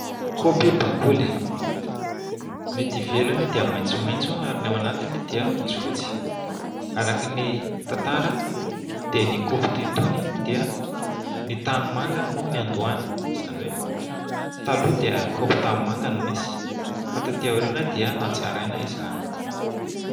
Kaopy bakoly. Ny ety ivelany dia maitsomaitso ary ny ao anatiny dia fotsifotsy. Araky ny tantara dia ny kaopy toy itony dia ny tany manga no niandohany. Izany hoe taloha dia kaopy tany manga no nisy fa taty aoriana dia natsaraina izany.